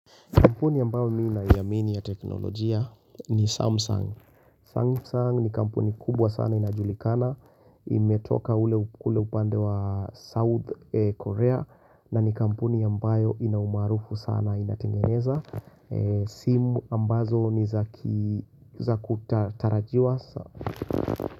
Kampuni ambayo mimi naiamini ya teknolojia ni Samsung. Samsung ni kampuni kubwa sana inajulikana. Imetoka kule upande wa South Korea. Na ni kampuni ambayo ina umaarufu sana inatengeneza. Simu ambazo ni za kutarajiwa.